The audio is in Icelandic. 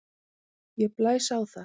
Ég blæs á það.